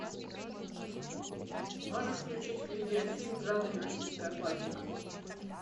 можешь включить видеофильм в жанре российская классика